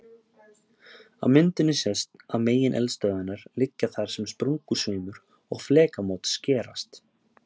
Á myndinni sést að megineldstöðvarnar liggja þar sem sprungusveimur og flekamót skerast.